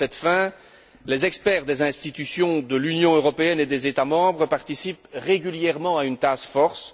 À cette fin, les experts des institutions de l'Union européenne et des États membres participent régulièrement à une task force.